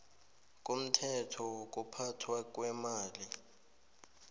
komthetho wokuphathwa kweemali